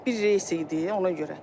Bir reys idi, ona görə.